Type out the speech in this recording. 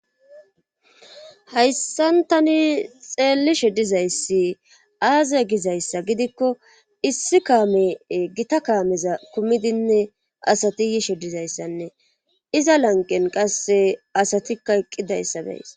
Hayssantani xeellishe dizayssi aaze gizayssa gidikko issi kaame gita kaameza kumidinne asati yishidizayssanne iza lanqen qasse asatikka eqqidayssa deys.